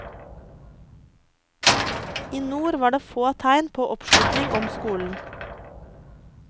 I nord var det få tegn på oppslutning om skolen.